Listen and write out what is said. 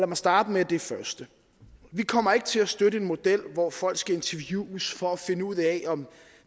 mig starte med det første vi kommer ikke til at støtte en model hvor folk skal interviewes for at finde ud af om